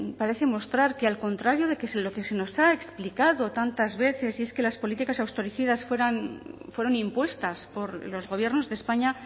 parece mostrar que al contrario de lo que se nos ha explicado tantas veces y es que las políticas austericidas fueron impuestas por los gobiernos de españa